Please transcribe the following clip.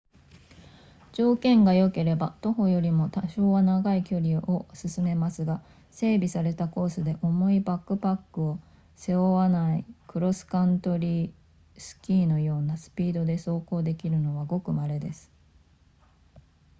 条件が良ければ徒歩よりも多少は長い距離を進めますが整備されたコースで重いバックパックを背負わないクロスカントリースキーのようなスピードで走行できるのはごく稀です